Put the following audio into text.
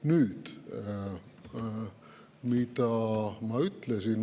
Nüüd, mida ma ütlesin?